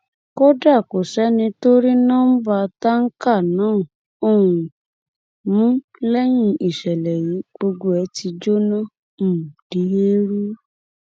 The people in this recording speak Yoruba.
kódà kò sẹni tó rí nọmba táǹkà náà um mú lẹyìn ìṣẹlẹ yìí gbogbo ẹ ti jóná um di eérú